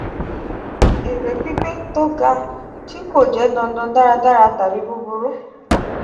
ere pinpin to ga ti ko je dandan daradara tabi buburu.